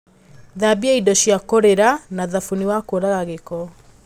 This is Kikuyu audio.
Thambia indo cia kũrĩra na thabuni wa kũraga gĩĩko